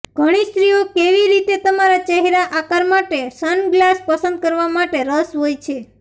ઘણી સ્ત્રીઓ કેવી રીતે તમારા ચહેરા આકાર માટે સનગ્લાસ પસંદ કરવા માટે રસ હોય છે